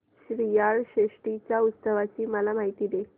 श्रीयाळ षष्टी च्या उत्सवाची मला माहिती दे